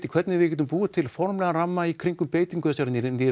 hvernig við getum búið til formlegan ramma kringum beitingu þessara